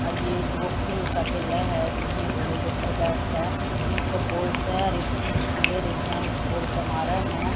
और ये एक वो खेल सा खेला है जिसमें घोड़े के ऊपर बैठ के नीचे बॉल्स है और एक स्टिक सिलारीन है उस बॉल को मारे है।